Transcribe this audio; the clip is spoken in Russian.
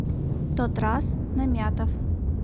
тотраз намятов